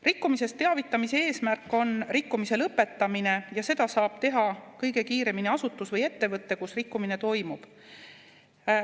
Rikkumisest teavitamise eesmärk on rikkumise lõpetamine ja seda saab teha kõige kiiremini asutus või ettevõte, kus rikkumine toimub.